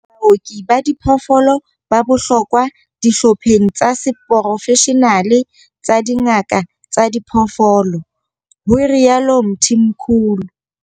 Baoki ba diphoofolo ba bohlokwa dihlopheng tsa seporofeshenale tsa dingaka tsa diphoofolo, ho rialo Mthimkhulu.